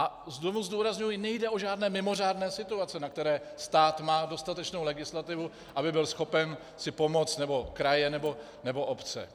A znovu zdůrazňuji, nejde o žádné mimořádné situace, na které stát má dostatečnou legislativu, aby byl schopen si pomoct, nebo kraje, nebo obce.